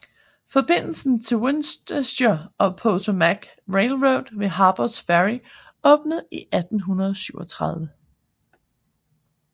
Forbindelsen til Winchester and Potomac Railroad ved Harpers Ferry åbnede i 1837